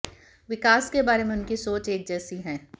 विकास के बारे में उनकी सोच एक जैसी है